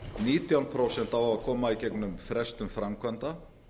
nítján prósent á að koma í gegnum frestun framkvæmda